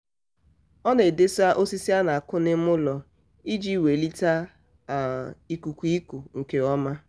ọ um na-edesa osisi a na-akụ n'ime ụlọ iji welite um ikuku iku nke ọma.